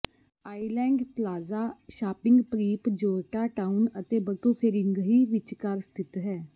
island plaza shopping ਪਰੀਪ Georgetown ਅਤੇ Batu Ferringhi ਵਿਚਕਾਰ ਸਥਿਤ ਹੈ